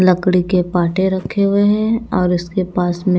लकड़ी के पाटे रखे हुए हैं और इसके पास में--